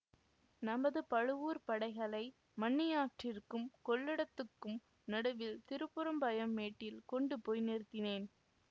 நமது பழுவூர்ப் படைகளை மண்ணியாற்றிற்க்கும் கொள்ளிடத்துக்கும் நடுவில் திருப்புறம்பயம் மேட்டில் கொண்டு போய் நிறுத்தினேன்